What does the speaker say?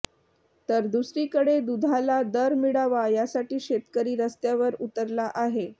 तर दुसरीकडे दूधाला दर मिळावा यासाठी शेतकरी रस्त्यावर उतरला आहे